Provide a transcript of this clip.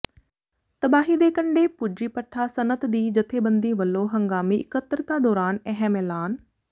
ਤਬਾਹੀ ਦੇ ਕੰਡੇ ਪੁੱਜੀ ਭੱਠਾ ਸਨਅਤ ਦੀ ਜਥੇਬੰਦੀ ਵੱਲੋਂ ਹੰਗਾਮੀ ਇਕੱਤਰਤਾ ਦੌਰਾਨ ਅਹਿਮ ਐਲਾਨ